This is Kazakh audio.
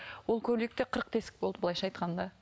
ол көйлекте қырық тесік болды былайша айтқанда